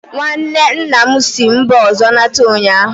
nwanne nna m si mba ọzọ lọta ụnyahụ